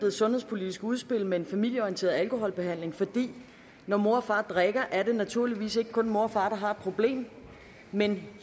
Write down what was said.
et sundhedspolitisk udspil med en familieorienteret alkoholbehandling fordi det når mor og far drikker naturligvis ikke kun er mor og far der har et problem men